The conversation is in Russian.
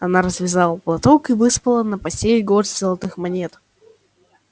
она развязала платок и высыпала на постель горсть золотых монет